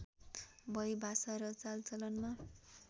भई भाषा र चालचलनमा